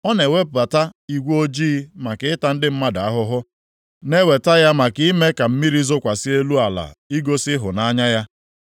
Ọ na-ewebata igwe ojii maka ịta ndị mmadụ ahụhụ, na-eweta ya maka ime ka mmiri zokwasị elu ala igosi ịhụnanya ya.